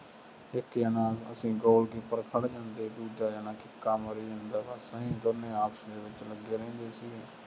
ਇੱਕ ਜਣਾ ਅਸੀਂ ਗੋਲ ਕੀਪਰ ਖੜ੍ਹ ਜਾਂਦੇ, ਦੂਜਾ ਜਣਾ ਕਿੱਕਾਂ ਮਾਰੀ ਜਾਂਦਾ, ਬੱਸ ਆਈਂ ਦੋਨੇ ਆਪਸ ਵਿੱਚ ਲੱਗੇ ਰਹਿੰਦੇ ਸੀ।